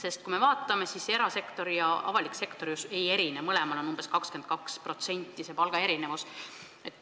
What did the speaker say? Erasektor ja avalik sektor omavahel ei erine, mõlemas sektoris on see palgaerinevus umbes 22%.